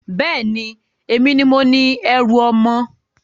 Bẹ́ẹ̀ni, èmi ni mo ni ẹrú ọmọ.